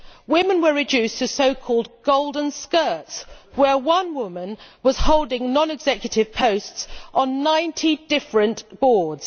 Women were reduced to so called golden skirts', with one woman holding non executive posts on 90 different boards.